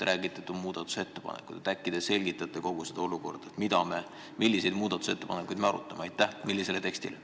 Äkki te selgitate kogu seda olukorda: mille muutmise ettepanekuid me arutame?